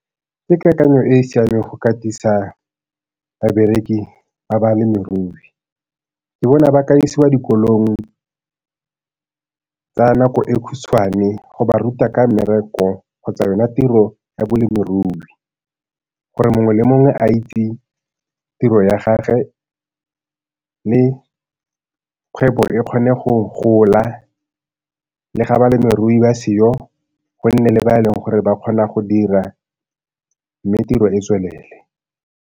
Ke kakanyo e e siameng go katisa babereki ba balemirui. Ke bona ba ka isiwa dikolong tsa nako e khutshwane go ba ruta ka mmereko kgotsa yona tiro ya balemirui, gore mongwe le mongwe a itse tiro ya gagwe mme kgwebo e kgone go gola. Le ga balemirui ba seo, go nne le ba e leng gore ba kgona go dira mme tiro e tswelele.